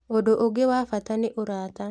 Ũndũ ũngĩ wa bata nĩ ũrata